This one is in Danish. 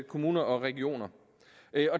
kommuner og regioner